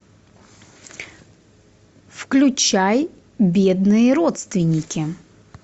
включай бедные родственники